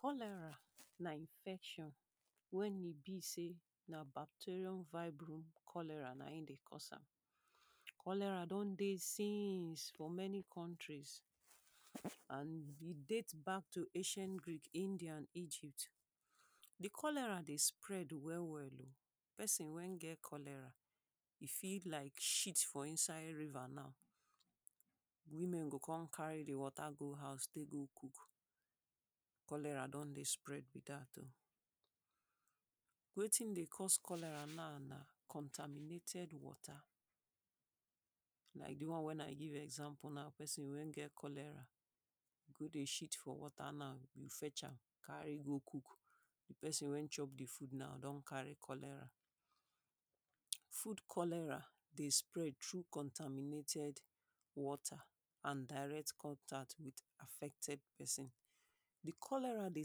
Cholera na infection wen e be sey na bacterium vibrio-cholerae na im dey cause am. cholera don dey since for many countries and e date back to ancient Greek, Indian and Egypt. di cholera dey spread well well oh, person when get cholera e fit like shit for inside river now, women go come carry the water go house go take cook, cholera don dey spread be dat oh. wetin dey cause cholera now, na conterminted water, like di one when i give example now, person wen get cholera go dey shit for water na, you fetch am, carry go cook, di person wen chop am don carry cholera. food cholera dey spread through contaminated water and direct contact with affected person, di cholera dey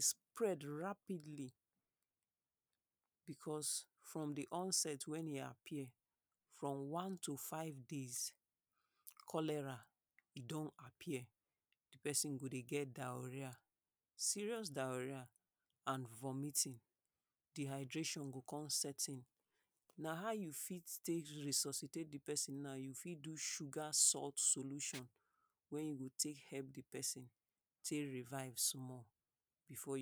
spread Rapidly because from di onset when e appear from one to five days, Cholera e don appear, di person go dey get diarrhoea, serious diarrhoea and vomiting dehydration go come set in. na how you fit take resuscitate di person na, you fit do sugar salt solution when you go take help di person, take revive small before you